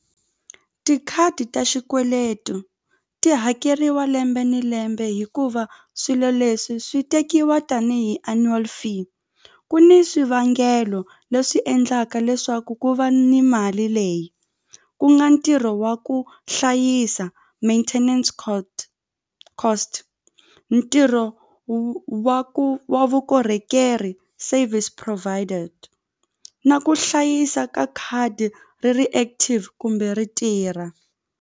Tikhadi ta xikweleto ti hakeriwa lembe ni lembe hikuva swilo leswi swi tekiwa tanihi annual fee ku ni swivangelo leswi endlaka leswaku ku va ni mali leyi ku nga ntirho wa ku hlayisa maintenance cost ntirho wa ku wa vukorhokeri service provided na ku hlayisa ka khadi ri ri active kumbe ri tirha.